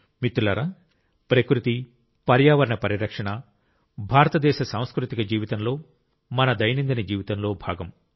మిత్రులారా ప్రకృతి పర్యావరణ పరిరక్షణ భారతదేశ సాంస్కృతిక జీవితంలో మన దైనందిన జీవితంలో భాగం